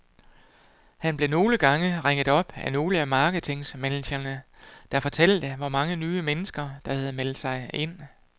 Han blev nogle gange ringet op af nogle af marketingmanagerne, der fortalte, hvor mange nye mennesker der havde meldt sig ind.